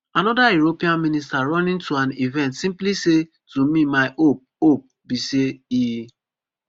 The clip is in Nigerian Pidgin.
anoda european minister running to an event simply say to me my hope hope be say e